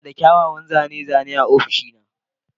Ina da kyawawan zane-zane a ofishina.